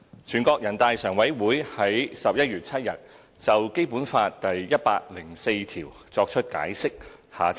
"全國人大常委會於11月7日就《基本法》第一百零四條作出解釋。